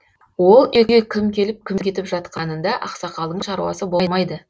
ол үйге кім келіп кім кетіп жатқанында ақсақалдың шаруасы болмайды